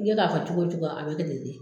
I bɛ k'a fɔ cogo o cogo a bɛ kɛ ten de.